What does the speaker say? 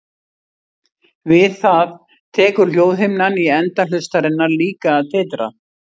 Við það tekur hljóðhimnan í enda hlustarinnar líka að titra.